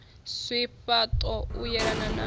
zwifha ṱo u yelana na